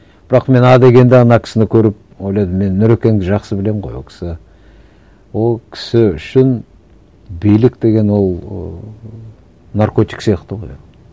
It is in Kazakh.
бірақ мен а дегенде ана кісіні көріп ойладым мен нұрекеңді жақсы білемін ғой ол кісі ол кісі үшін билік деген ол ыыы наркотик сияқты ғой ол